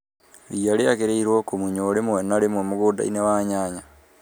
Ria rĩagĩrĩirwo kumunywo rĩmwe na rĩmwe mugunda-inĩ wa nyanya.